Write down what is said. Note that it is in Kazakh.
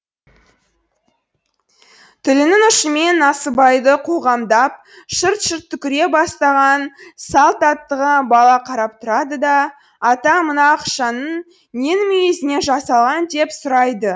тілінің ұшымен насыбайды қоғамдап шырт шырт түкіре бастаған салт аттыға бала қарап тұрады да ата мына ақшаның ненің мүйізінен жасалған деп сұрайды